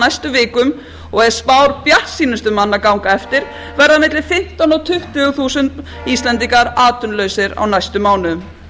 næstu vikum og ef spár bjartsýnustu manna ganga eftir verða á milli fimmtán og tuttugu þúsund íslendingar atvinnulausir á næstu mánuðum